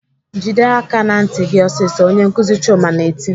"Jide aka ná ntị gị ọsịsọ!" Onye nkuzi Chuma na-eti.